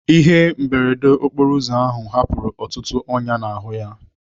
Ihe mberede okporo ụzọ ahụ hapụrụ ọtụtụ ọnyá n'ahụ ya.